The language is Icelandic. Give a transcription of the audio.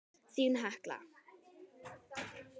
Þín, Hekla.